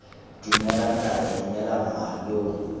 dumela ntata dumela mma lo